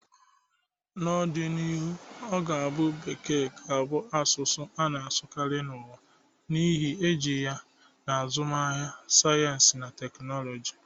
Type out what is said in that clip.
N'ọdịnihu, ọ ga-abụ na Bekee ga-abụ asụsụ a na-asụkarị n'ụwa, n'ihi iji ya na azụmahịa, sayensị na teknụzụ